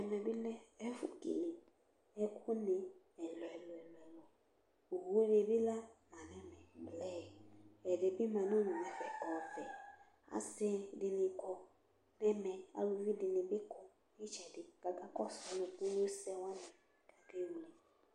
ɛmɛ bi lɛ ɛfu kele ɛkò ni ɛlò ɛlò ɛlò owu ni bi la ma no ɛmɛ blu ɛdi bi ma n'udu n'ɛfɛ ɔvɛ asi di ni kɔ n'ɛmɛ aluvi di ni bi kɔ n'itsɛdi k'aka kɔsu nukunu sɛ wani k'ake wle